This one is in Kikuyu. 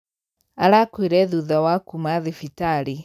Arakuire thutha wa kuma thibitarĩ.